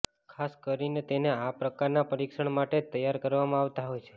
ખાસ કરીને તેને આ પ્રકારના પરીક્ષણ માટે જ તૈયાર કરવામાં આવતા હોય છે